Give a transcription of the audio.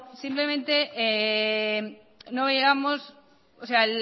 simplemente no veíamos